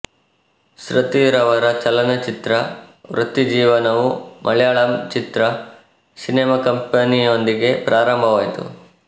ಶೃತಿರವರ ಚಲನಚಿತ್ರ ವೃತ್ತಿಜೀವನವು ಮಲಯಾಳಂ ಚಿತ್ರ ಸಿನೆಮಾ ಕಂಪನಿಯೊಂದಿಗೆ ಪ್ರಾರಂಭವಾಯಿತು